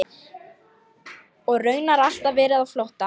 Og raunar alltaf verið á flótta.